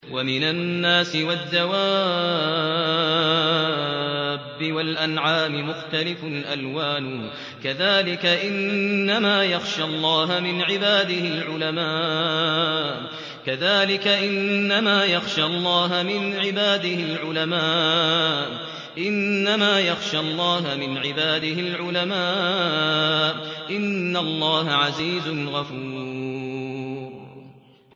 وَمِنَ النَّاسِ وَالدَّوَابِّ وَالْأَنْعَامِ مُخْتَلِفٌ أَلْوَانُهُ كَذَٰلِكَ ۗ إِنَّمَا يَخْشَى اللَّهَ مِنْ عِبَادِهِ الْعُلَمَاءُ ۗ إِنَّ اللَّهَ عَزِيزٌ غَفُورٌ